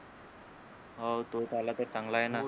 हो तो चालल तर चांगला आहे ना